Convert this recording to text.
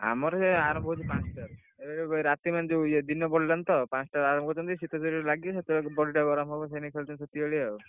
ଆମର ସେ ଆରମ୍ଭ ହଉଛି ପାଞ୍ଚ ଟାରୁ ରାତି ମାନେ ଯଉ ଦିନ ପଡ଼ିଲାଣି ତ ପାଞ୍ଚ ଟାରୁ ଆରମ୍ଭ କରୁଛନ୍ତି ଶୀତ ଯେତେ ବେଳେ ଲାଗିବ body ଟା ଗରମ ହବ ସେଇଲାଗି ଖେଳୁଛନ୍ତି ସେତିକି ବେଳିଆ ଆଉ।